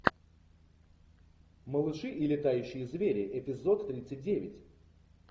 малыши и летающие звери эпизод тридцать девять